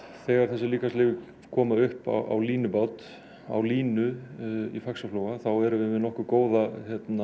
þegar þessar líkamsleifar koma upp á línubát á línu í Faxaflóa þá erum við með nokkuð góða